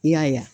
I y'a ye